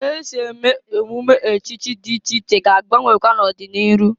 Ka esi eme emume echichi dị iche iche ga-agbanwekwa n'ọdị n'iru.